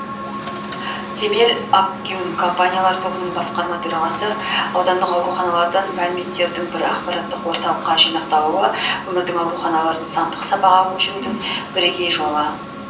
темел акгюн компаниялар тобының басқарма төрағасы аудандық ауруханалардан мәліметтердің бір ақпараттық орталыққа жинақталуы өңірдің ауруханаларын сандық сапаға көшірудің бірегей жолы